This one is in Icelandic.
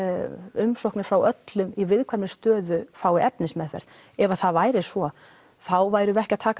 umsóknir frá öllum í viðkvæmri stöðu fái efnismeðferð ef það væri svo þá værum við ekki að taka